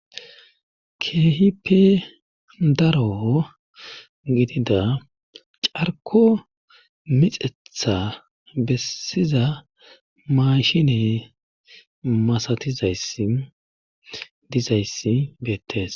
Keehipe daro gidida carko mixetha bessiza maashine masatizayi dizayssi beettees.